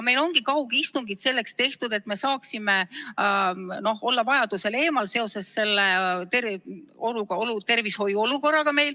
Meil on kaugistungid selleks tehtud, et me saaksime vajadusel eemal olla seoses meie tervishoiuolukorraga.